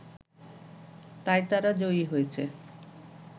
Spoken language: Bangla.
তাই তারা জয়ী হয়েছে